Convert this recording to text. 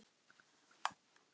Verð pabbi.